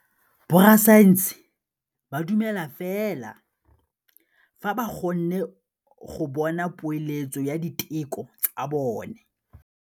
Borra saense ba dumela fela fa ba kgonne go bona poeletsô ya diteko tsa bone.